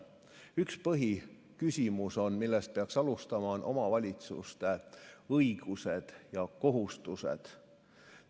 Üks põhiküsimusi, millest peaks alustama, on omavalitsuste õigused ja kohustused.